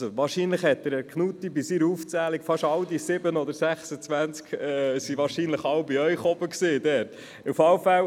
Wahrscheinlich befanden sich fast alle dieser 7 oder 26 Gesuche in der Region von Herrn Knutti.